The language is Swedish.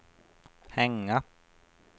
hänga